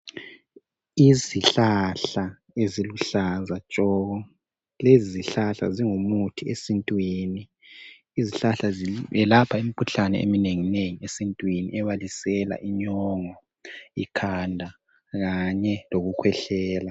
Izihlahla eziluhlaza tshoko izihlahla zingu muthi esintwini izihlahla ezelapha imikhuhlane eminengi esintwini ebalisela inyongo ikhanda Kanye lokukhwehlela.